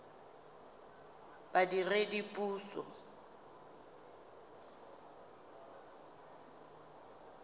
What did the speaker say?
badiredipuso